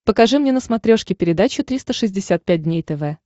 покажи мне на смотрешке передачу триста шестьдесят пять дней тв